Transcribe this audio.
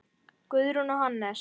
Guðrún og Hannes.